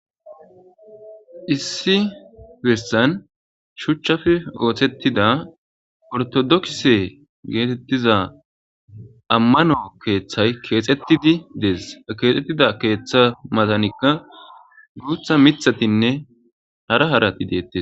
issi bissan shuchchafe oothettida ortodokse geetettiza ammano keeththay keexettidi dees keexxettida keeththa matanikka guutha mithatinne hara harati deettes